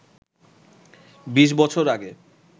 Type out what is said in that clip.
বিশ বছর আগে